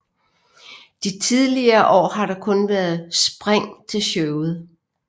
De tidligere år har der kun været spring til showet